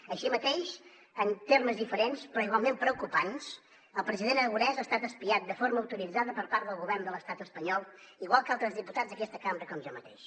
així mateix en termes diferents però igualment preocupants el president aragonès ha estat espiat de forma autoritzada per part del govern de l’estat espanyol igual que altres diputats d’aquesta cambra com jo mateix